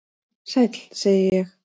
"""Sæll, segi ég."""